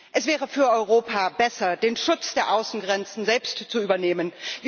Es wäre für Europa besser, den Schutz der Außengrenzen selbst zu übernehmen.